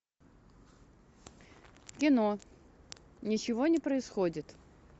кино ничего не происходит